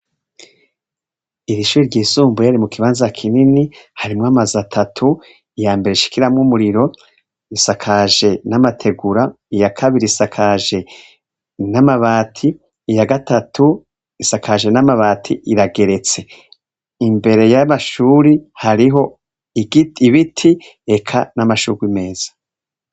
iri shuri ry'isumbuye riri mu kibanza kinini harimo amazi atatu ya mbere ashikiramwo umuriro isakaje n'amategura iya kabiri isakiya gatatu isakajwe n'amabati irageretse imbere y'amashuri hariho ibiti reka n'amashurwe meza